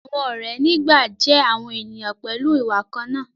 àwọn òré ní gbà jé àwọn ènìyàn pẹlú ìwà kànnà.